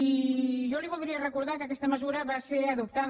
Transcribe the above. i jo li voldria recordar que aquesta mesura va ser adoptada